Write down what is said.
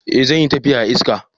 Eh, zan yi tafiya a ista.